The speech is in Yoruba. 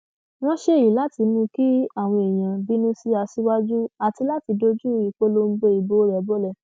wọn ṣe èyí láti mú kí àwọn èèyàn bínú sí aṣíwájú àti láti dojú ìpolongo ìbò rẹ bọlẹ